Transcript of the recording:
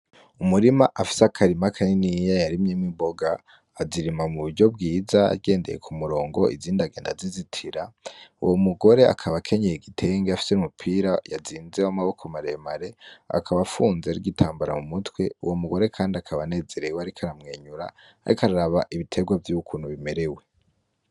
Umurima afise akarima kaniniya yarimyemo imboga azirima mu buryo bwiza agendeye ku murongo izindagenda zizitira uwo mugore akaba akenyeye igitenge afise umupira yazinzewo amaboko maremare akaba afunze arwitambara mu mutwe uwo mugore, kandi akabanezerewe, ariko aramwenyura, ariko araraba ibiterwa vy'ukunu ba merewe.